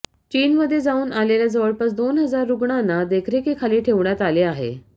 चीनमध्ये जाऊन आलेल्या जवळपास दोन हजार रुग्णांना देखरेखीखाली ठेवण्यात आले आहे